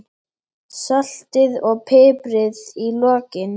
Saltið og piprið í lokin.